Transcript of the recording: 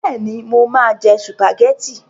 Bẹ́ẹ̀ni, mo máa jẹ sùpàgẹ́tì.